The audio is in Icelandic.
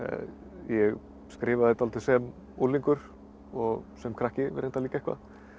ég skrifaði dálítið sem unglingur og sem krakki reyndar líka eitthvað